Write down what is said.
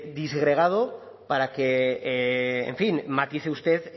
disgregado para que en fin matice usted